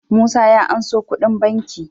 Musa ya anso kudi banki